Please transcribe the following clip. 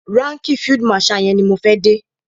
Ránkìì field marshal yẹn ni mo fẹ́ dé.